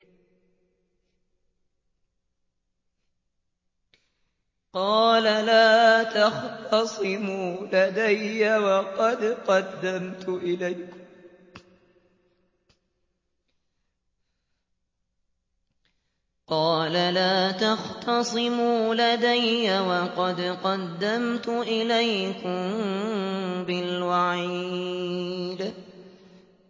قَالَ لَا تَخْتَصِمُوا لَدَيَّ وَقَدْ قَدَّمْتُ إِلَيْكُم بِالْوَعِيدِ